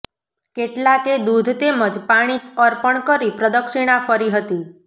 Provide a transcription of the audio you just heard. કેટલાકે દુધ તેમજ પાણી અર્પણ કરી પ્રદક્ષિણા ફરી હતી